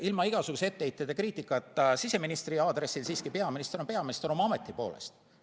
Ilma igasuguse etteheite ja kriitikata siseministri aadressil, siiski, peaminister on peaminister oma ameti poolest.